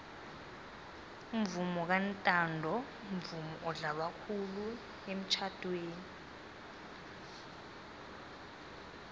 umvomo kantanto mvumo odlalwa khulu emitjhadweni